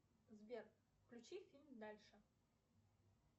сбер включи фильм дальше